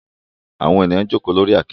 Awọn eniyan joko lori akete